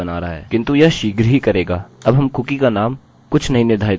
अब हम कुकीcookie का नाम कुछ नहीं निर्धारित करेंगे